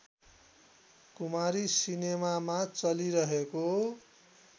कुमारी सिनेमामा चलिरहेको